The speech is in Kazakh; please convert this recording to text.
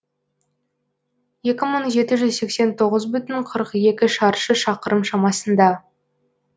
екі мың жеті жүз сексен тоғыз бүтін қырық екі шаршы шақырым шамасында